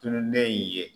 Tununnen ye